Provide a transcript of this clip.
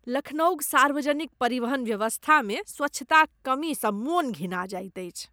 लखनऊक सार्वजनिक परिवहन व्यवस्थामे स्वच्छताक कमीसँ मन घिना जाइत अछि।